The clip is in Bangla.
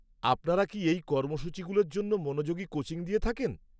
আপনারা কি এই কর্মসূচীগুলোর জন্য মনোযোগী কোচিং দিয়ে থাকেন?